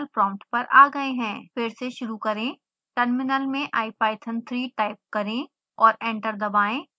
फिर से शुरू करें टर्मिनल में ipython3 टाइप करें और एंटर दबाएं